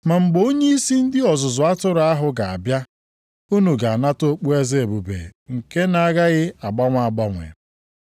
Ma mgbe Onyeisi ndị ọzụzụ atụrụ ahụ ga-abịa unu ga-anata okpueze ebube nke na-agaghị agbanwe agbanwe.